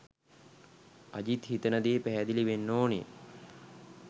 අජිත් හිතන දේ පැහැදිලි වෙන්න ඕනෙ.